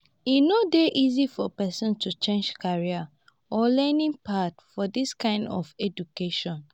e no dey easy for person to change career or learning path for this kind of education